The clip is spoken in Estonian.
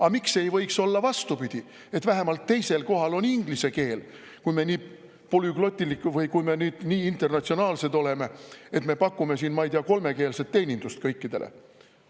Aga miks ei võiks olla vastupidi, et vähemalt teisel kohal on inglise keel, kui me nii polüglotilikud või nii internatsionaalsed oleme, et me pakume siin kolmekeelset teenindust kõikidele?